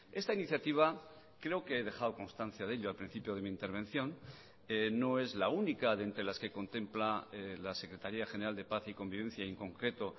esta iniciativa creo que he dejado constancia de ello al principio de mi intervención no es la única de entre las que contempla la secretaría general de paz y convivencia y en concreto